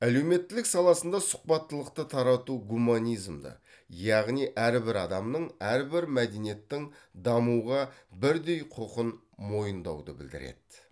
әлеуметтілік саласында сұхбаттылықты тарату гуманизмді яғни әрбір адамның әрбір мәдениеттің дамуға бірдей құқын мойындауды білдіреді